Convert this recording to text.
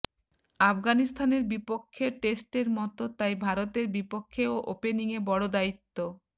আফগানিস্তানের বিপক্ষে টেস্টের মতো তাই ভারতের বিপক্ষেও ওপেনিংয়ে বড় দায়িত্ব